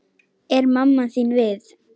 Er mamma þín við?